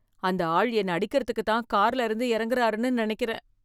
அந்த ஆள் என்னை அடிக்கிறதுக்குத் தான் கார்ல இருந்து இறங்குராருன்னு நினைக்கிறேன்